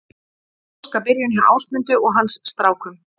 Óskabyrjun hjá Ásmundi og hans strákum